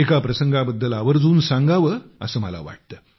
एका प्रसंगाबद्दल आवर्जून सांगावे असे मला वाटते